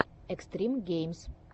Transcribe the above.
экстрим геймз